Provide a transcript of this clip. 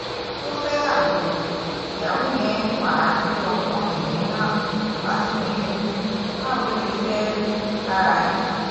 ó fẹ́yàwó ìyàwó yẹn wàá gbé ọkùnrin mìíràn wá sínú ilé báwo ló ṣe fẹ́ẹ́ rí lára yín